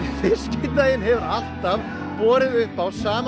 fiskidaginn hefur alltaf borið upp á sama